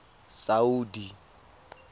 saudi